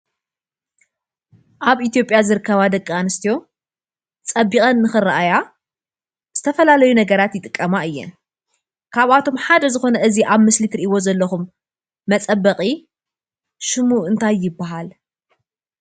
ኣብ ኢትዮጵያ ዝርከባ ደቂ ኣንስትዮ ፀቢቐን ንክርኣያ ዝተፈላለዩ ነገራት ይጥቀማ እየን። ካብኣቶም ሓደ ዝኮነ እዙይ ኣብ ምስሊ እትርእይዎ ዘለኩም መፀበቒ ሽሙ እንታይ ይብሃል?